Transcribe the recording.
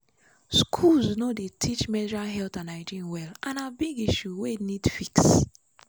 schools no dey teach menstrual health and hygiene well and na big issue wey need fix.